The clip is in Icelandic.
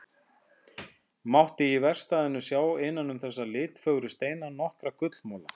Mátti í verkstæðinu sjá innan um þessa litfögru steina nokkra gullmola.